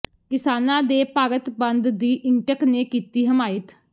ਕਿਸਾਨਾਂ ਦੇ ਭਾਰਤ ਬੰਦ ਦੀ ਇੰਟਕ ਨੇ ਕੀਤੀ ਹਮਾਇਤ